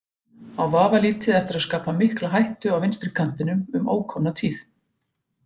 Á vafalítið eftir að skapa mikla hættu á vinstri kantinum um ókomna tíð.